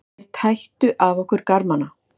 Þeir tættu af okkur garmana.